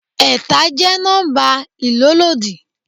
Ẹ̀ta jẹ́ nọ́mbà ìlólòdi.